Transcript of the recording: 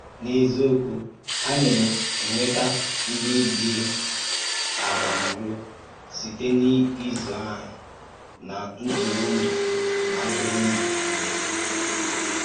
N’ezíokwu, à na-ènwètà ǹdí díé àbàm̀ùrụ̀ sītè n’ízụ̀ áhụ̀́ nà ntùrùndù. nà ntùrùndù.